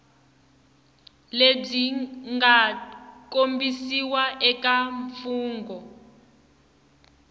lebyi nga kombisiwa eka mfungho